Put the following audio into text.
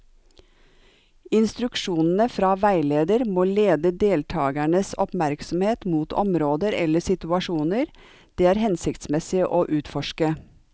Instruksjonene fra veileder må lede deltakernes oppmerksomhet mot områder eller situasjoner det er hensiktsmessig å utforske.